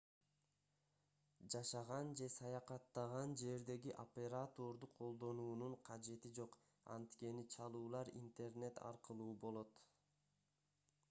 жашаган же саякаттаган жердеги операторду колдонуунун кажети жок анткени чалуулар интернет аркылуу болот